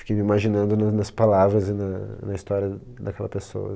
Fiquei me imaginando no nas palavras e na na história daquela pessoa.